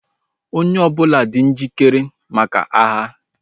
Onye ọbụla dị njikere maka agha